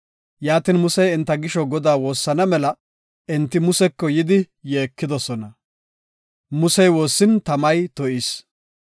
Yaatin Musey enta gisho Godaa woossana mela enti Museko yidi yeekidosona. Musey woossin tamay to7is.